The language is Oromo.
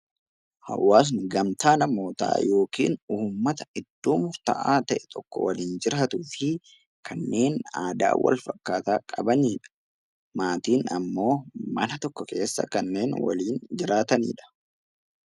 Hawaasni gamtaa namootaa (ummata) iddoo murtaa'aa ta'e tokko waliin jiraatuu fi kanneen aadaa walfakkaataa qabanii dha. Maatiin ammoo mana tokko keessa kanneen waliin jiraatanii dha.